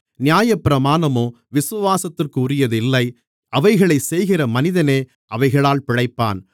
நியாயப்பிரமாணமோ விசுவாசத்திற்குரியது இல்லை அவைகளைச் செய்கிற மனிதனே அவைகளால் பிழைப்பான்